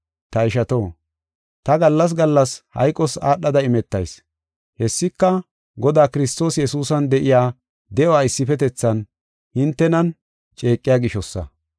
Ta ishato, ta gallas gallas hayqos aadhada imetayis. Hessika, Godaa Kiristoos Yesuusan de7iya de7uwa issifetethan hintenan ceeqiya gishosa.